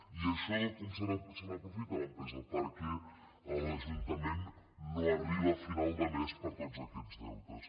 i d’això com se n’aprofita l’empresa perquè l’ajuntament no arriba a final de mes per tots aquests deutes